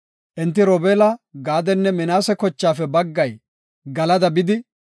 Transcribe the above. Enti Robeela, Gaadenne Minaase kochaafe baggay Galada bidi,